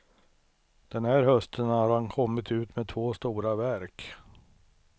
Den här hösten har han kommit ut med två stora verk.